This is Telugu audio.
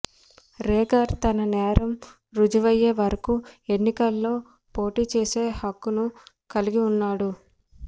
రేగార్ తన నేరం రుజువయ్యే వరకు ఎన్నికల్లో పోటీచేసే హక్కును కలిగి ఉన్నాడు